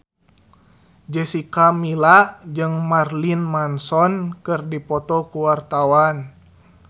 Jessica Milla jeung Marilyn Manson keur dipoto ku wartawan